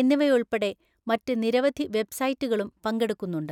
എന്നിവയുൾപ്പെടെ മറ്റ് നിരവധി വെബ്‌സൈറ്റുകളും പങ്കെടുക്കുന്നുണ്ട്.